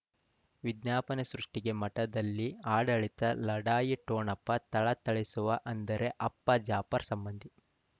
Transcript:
ವಿಜ್ಞಾಪನೆ ಸೃಷ್ಟಿಗೆ ಮಠದಲ್ಲಿ ಆಡಳಿತ ಲಢಾಯಿ ಠೊಣಪ ಥಳಥಳಿಸುವ ಅಂದರೆ ಅಪ್ಪ ಜಾಫರ್ ಸಂಬಂಧಿ